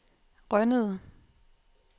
Rønnede